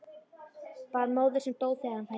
Bara móður sem dó þegar hann fæddist.